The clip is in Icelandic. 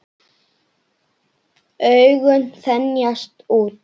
Augun þenjast út.